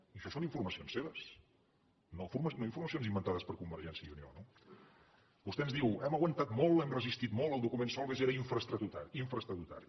i això són informacions seves no informacions inventades per convergència i unió no vostè ens diu hem aguantat molt hem resistit molt el document solbes era infraestatutari